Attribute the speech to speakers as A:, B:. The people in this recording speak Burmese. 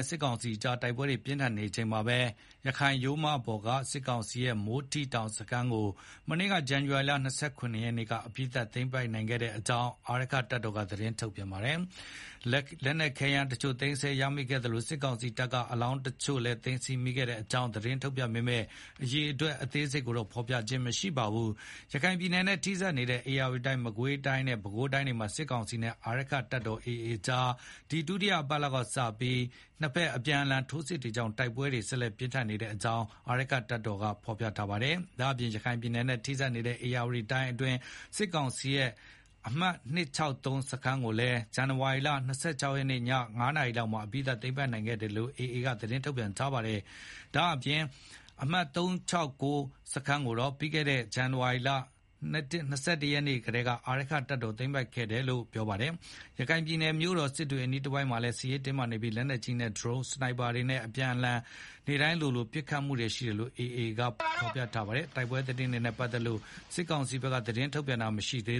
A: ့ စစ်ကောင်စီအကြား တိုက်ပွဲတွေ ပြင်းထန်နေချိန်မှာပဲ ရခိုင်ရိုးမပေါ်က စစ်ကောင်စီရဲ့ မိုးထိတောင်စခန်းကို မနေ့က ဇန်နဝါရီလ ၂၇ ရက်နေ့က အပြီးသတ်သိမ်းပိုက်နိုင်ခဲ့တဲ့အကြောင်း အာရက္ခတပ်တော်က သတင်းထုတ်ပြန်ပါတယ်။ လက်နက်ခဲယမ်းတချို့ သိမ်းဆည်းမိခဲ့သလို စစ်ကောင်စီတပ်က အလောင်းတချို့ သိမ်းဆည်းမိတဲ့အကြောင်း သတင်းထုတ်ပြန်ပေမဲ့ အရေအတွက် အသေးစိတ်တော့ ဖေါ်ပြခြင်း မရှိပါဘူး။ ရခိုင်ပြည်နယ်နဲ့ ထိစပ်နေတဲ့ ဧရာဝတီ မကွေးနဲ့ ပဲခူးတိုင်းတွေမှာ စစ်ကောင်စီနဲ့ အာရက္ခတပ်တော် AA ကြား ဒီလ ဒုတိယအပတ်လောက်က စတင်ပြီး နှစ်ဘက်အပြန်အလှန်ထိုးစစ်တွေကြောင့် တိုက်ပွဲတွေ ဆက်လက်ပြင်းထန်နေတဲ့အကြောင်းလည်း အာရက္ခတပ်တော် AA က ပြောပါတယ်။ ဒါ့အပြင် ရခိုင်ပြည်နယ်နဲ့ ထိစပ်နေတဲ့ ဧရာဝတီတိုင်းအတွင်းက စစ်ကောင်စီရဲ့ ပွိုင့် စခန်းကိုလည်း ဇန်နဝါရီလ ၂၆ ရက်နေ့ ညနေ ၅ နာရီလောက်မှာ အပြီးသတ်သိမ်းပိုက်နိုင်ခဲ့တယ်လို့ AA ရဲ့ သတင်းထုတ်ပြန်ချက်မှာ ပါရှိပါတယ်။ ပွိုင့် စခန်းကိုတော့ ပြီးခဲ့တဲ့ ဇန်နဝါရီလ ၂၁ ရက်နေ့ ကတည်းက အာရက္ခတပ်တော်က သိမ်းပိုက်ထားခဲ့တယ်လို့ ပြောပါတယ်။ ရခိုင်ပြည်နယ်မြို့တော်စစ်တွေအနီးတဝိုက်မှာလည်း စစ်ရေးတင်းမာနေပြီး လက်နက်ကြီးတွေနဲ့ ဒရုန်း စနိုက်ပါတွေနဲ့ နှစ်ဘက် အပြန်အလှန် နေ့တိုင်းလိုလို ပစ်ခတ်တိုက်ခိုက်နေတယ်လို့ AA တပ်ဖွဲ့က ပြောပါတယ်။ တိုက်ပွဲသတင်းတွေနဲ့ ပတ်သက်လို့ စစ်ကောင်စီဘက်က သတင်းထုတ်ပြန်တာ မရှိသေး